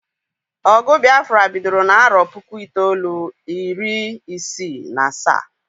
Ogụ Biafra bidoro n'arọ puku itoolu, iri isi na asaa